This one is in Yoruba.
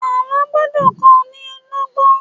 Àlọ́ gbọ́dọ̀ kó ní lọ́gbọ́n